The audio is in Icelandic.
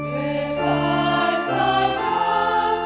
að